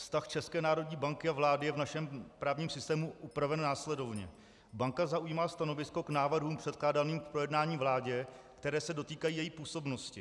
Vztah České národní banky a vlády je v našem právním systému upraven následovně: Banka zaujímá stanovisko k návrhům předkládaným k projednání vládě, které se dotýkají její působnosti.